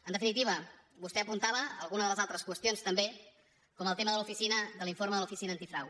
en definitiva vostè apuntava alguna de les altres qüestions també com el tema de l’informe de l’oficina antifrau